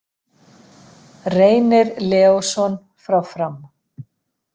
Reynir Leósson frá Fram